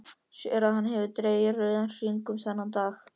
Sér að hann hefur dregið rauðan hring um þennan dag.